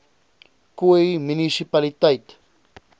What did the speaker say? khoi munisi paliteit